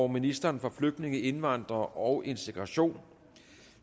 ministeren for flygtninge indvandrere og integration